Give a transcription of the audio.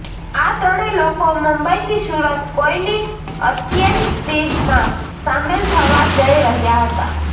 આ ત્રણે લોકો મુંબઈથી સુરત કોઈની અંત્યેષ્ટિમાં શામેલ થવા જઈ રહ્યા હતા